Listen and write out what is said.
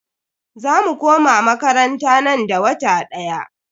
Za mu koma makaranta nan da wata daya.